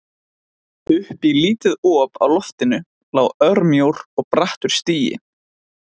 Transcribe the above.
Upp í lítið op á loftinu lá örmjór og brattur stigi.